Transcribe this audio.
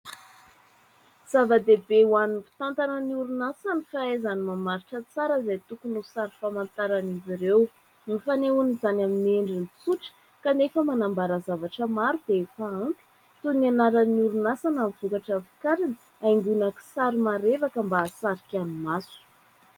Zava-dehibe ho an'ny mpitantana orinasa ny fahaizany mamaritra tsara izay tokony ho sary famantaran'izy ireo. Ny fanehoana izany amin'ny endriny tsotra kanefa manambara zavatra maro dia efa ampy. Toy ny anaran'ny orinasa na ny vokatra vokariny, haingona kisary marevaka mba hahasarika ny maso.